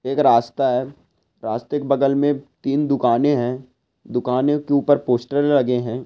एक रास्ता है रास्ते के बगल में तीन दुकाने है दुकाने के ऊपर पोस्टर लगे हैं।